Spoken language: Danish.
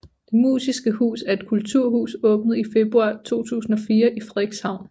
Det Musiske Hus er et kulturhus åbnet i februar 2004 i Frederikshavn